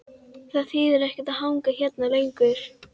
Það þýðir ekkert að hanga hérna lengur.